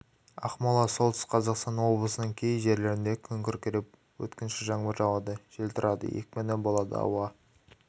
ақмола солтүстік қазақстан облысының кей жерлерінде күн күркіреп өткінші жаңбыр жауады жел тұрады екпіні болады ауа